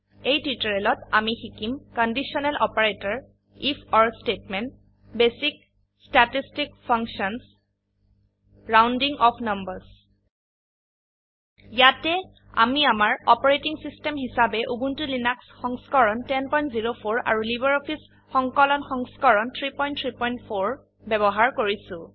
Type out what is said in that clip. এই টিউটোৰিয়েলত আমি শিকিম কন্দিছনেল অপাৰেটৰ ifঅৰ statement basic statistic function rounding off numbers ইয়াতে আমি আমাৰ অপাৰেটিং সিস্টেম হিসাবে উবুন্টু লিনাক্স সংস্কৰণ 1004 আৰু লাইব্ৰঅফিছ সংকলন সংস্কৰণ 334 ব্যবহাৰ কৰিছো